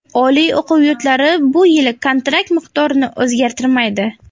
Oliy o‘quv yurtlari bu yili kontrakt miqdorini o‘zgartirmaydi.